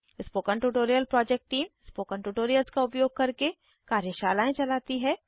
spoken tutorial project team spoken tutorials का उपयोग करके कार्यशालाएं चलाती है